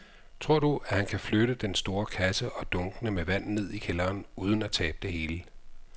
Tror du, at han kan flytte den store kasse og dunkene med vand ned i kælderen uden at tabe det hele?